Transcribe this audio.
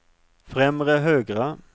främre högra